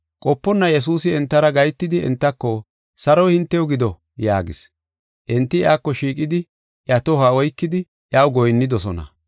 Qoponna Yesuusi entara gahetidi entako, “Saroy hintew gido” yaagis. Enti iyako shiiqidi, iya tohuwa oykidi iyaw goyinnidosona.